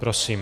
Prosím.